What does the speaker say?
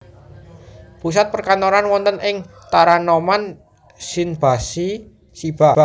Pusat perkantoran wonten ing Toranomon Shinbashi Shiba